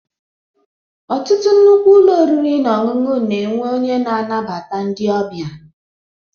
Ọtụtụ nnukwu ụlọ oriri na ọṅụṅụ na-enwe onye na-anabata ndị ọbịa.